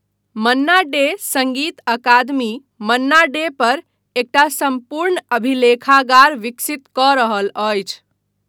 मन्ना डे सङ्गीत अकादमी मन्ना डे पर एकटा सम्पूर्ण अभिलेखागार विकसित कऽ रहल अछि।